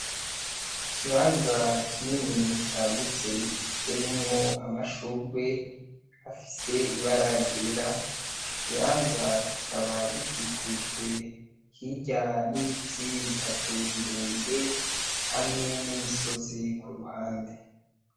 Ikibanza kinini caguze giteyemwo amashurwe afise ibara ry'igera. Ico kibanza kikaba gikikujwe hirya n'ibiti bitatu birebire hamwe n'imisozi ku ruhande.